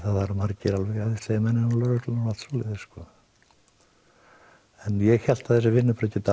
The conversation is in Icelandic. eru margir alveg æðislegir menn innan lögreglunnar og allt svoleiðis en ég hélt að þessi vinnubrögð gætu